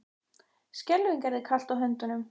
Skelfing er þér kalt á höndunum.